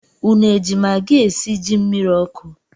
Unu eji magi esi ji mmiri ọkụ?